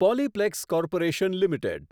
Polyplex Corporation limited